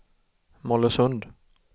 Mollösund